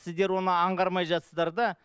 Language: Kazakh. сіздер оны аңғармай жатырсыздар да